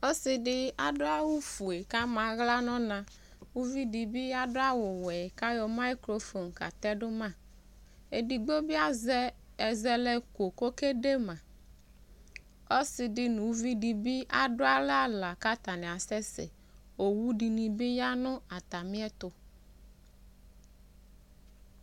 Ɔse de ad awufue kama ahla nɔnaUvi de be ado awuwɛ ka yɔ mayukrofon ka tɛdo maEsigbo be azɛ ɛaɛlɛ ko kɔlede maƆse de no uvi de be aso alɛ ahla ka atane asɛsɛOwu de ne be ya no atame ɛto